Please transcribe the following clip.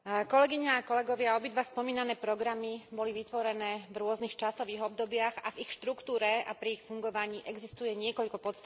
Obidva spomínané programy boli vytvorené v rôznych časových obdobiach a v ich štruktúre a pri ich fungovaní existuje niekoľko podstatných rozdielov.